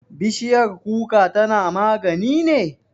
Bishiyar kuka tana magani ne?